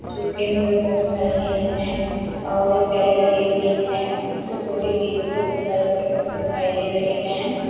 जो कि अंदर बहुत सारे हिरण हैं और एक जाली लगी हुई है। उससे थोड़ी ही दूर बहुत सारे पेड़ पौधे दिखाई दे रहे हैं।